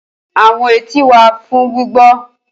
Awọn eti wa fun gbigbọ.